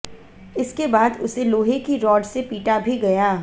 इसके बाद उसे लोहे की रॉड से पीटा भी गया